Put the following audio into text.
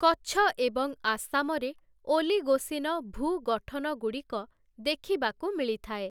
କଚ୍ଛ ଏବଂ ଆସାମରେ ଓଲିଗୋସିନ ଭୂ ଗଠନଗୁଡ଼ିକ ଦେଖିବାକୁ ମିଳିଥାଏ ।